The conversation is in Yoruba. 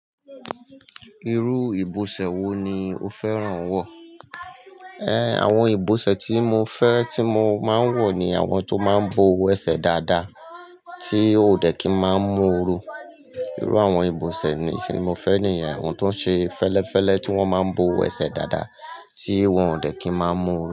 Irú ìbọ̀sẹ̀ wo ni o fẹ́ràn wọ̀? Ẹ̀, àwọn ìbọ̀sẹ̀ tí mo fẹ́, tí mo máa ń wọ̀ ni àwọn tó máa ń bo ẹ̀sẹ̀ dáadáa, tí ò dẹ̀ kí máa ń mú oru. Irú àwọn ìbọ̀sẹ̀ nì ti mo fẹ́ ni yen àwọn tó ń ṣe fẹ́lẹ́fẹ́lẹ́ tí wọ́n máa ń bo ẹ̀sẹ̀ dáadáa tí wọ́n ò dẹ̀ kí máa ń mú oru.